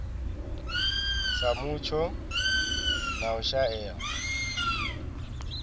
sa mutsho na u shaea